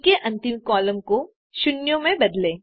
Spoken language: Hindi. सी के अंतिम कॉलम को शून्यों में बदलें